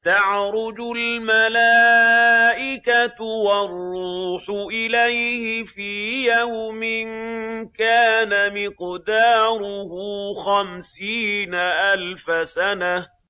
تَعْرُجُ الْمَلَائِكَةُ وَالرُّوحُ إِلَيْهِ فِي يَوْمٍ كَانَ مِقْدَارُهُ خَمْسِينَ أَلْفَ سَنَةٍ